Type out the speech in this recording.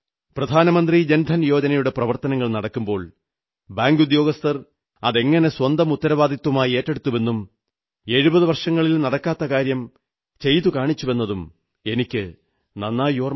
പ്രധാനമന്ത്രി ജൻ ധൻ യോജനയുടെ പ്രവർത്തനങ്ങൾ നടക്കുമ്പോൾ ബാങ്കുദ്യോഗസ്ഥർ അതെങ്ങനെ സ്വന്തം ഉത്തരവാദിത്വമായി ഏറ്റെടുത്തുവെന്നും 70 വർഷങ്ങളിൽ നടക്കാഞ്ഞ കാര്യം ചെയ്തുകാണിച്ചുവെന്നതും എനിക്ക് നന്നായി ഓർമ്മയുണ്ട്